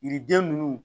Yiriden ninnu